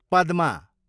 पदमा